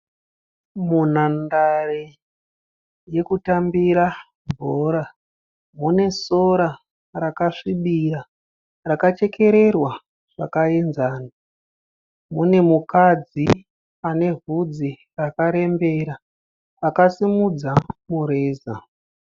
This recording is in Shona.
Munhandare yekutambira bhora. Mune sora rakasvibira rakachekererwa zvakaenzana. Mune mukadzi ane vhudzi rakarembera akasimudza mureza.